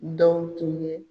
Dɔw tun ye